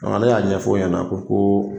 ale y'a ɲɛfɔ o ɲɛna ko